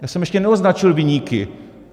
Já jsem ještě neoznačil viníky.